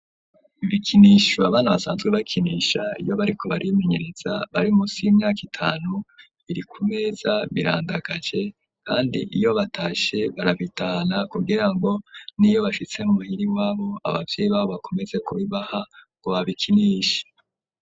Ibikinisho abana basanzwe bakinisha, iyo bariko baribimenyereza bari munsi y'imyaka itanu, Biri ku meza birandagaje, kandi iyo batashe barabitana kugira ngo niyo bashitse mumuhiriwabo abavyeyi babo bakomeze kubibaha ngo babikinishe.